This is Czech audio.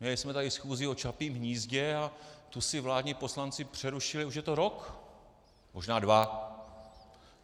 Měli jsme tady schůzi o Čapím hnízdě a tu si vládní poslanci přerušili, už je to rok, možná dva.